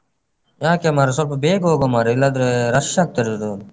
ಯಾಕೆ ಮಾರೆ ಸ್ವಲ್ಪ ಬೇಗ ಹೋಗ್ವ ಮಾರೆ ಇಲ್ಲಾದ್ರೇ rush ಆಗ್ತಾದೆ ಅದು.